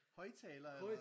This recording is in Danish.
Højtaler eller?